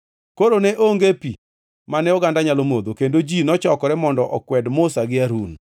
Koro ne onge pi mane ogandani nyalo modho, kendo ji nochokore mondo okwed Musa gi Harun.